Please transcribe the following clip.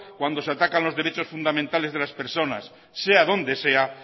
cuando se atacan los derechos fundamentales de las personas sea donde sea